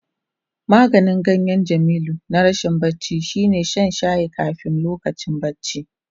Maganin ganyen Jamilu na rashin bacci shine shan shayin kafin lokacin bacci.